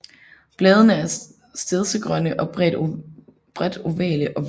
Bladene er stedsegrønne og bredt ovale og hvælvede